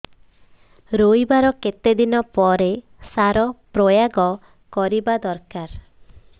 ରୋଈବା ର କେତେ ଦିନ ପରେ ସାର ପ୍ରୋୟାଗ କରିବା ଦରକାର